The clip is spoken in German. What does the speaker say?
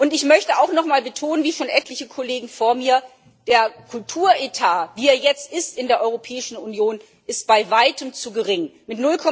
Ich möchte auch nochmal betonen wie schon etliche Kollegen vor mir dass der Kulturetat, wie er jetzt in der Europäischen Union ist, bei Weitem zu gering ist.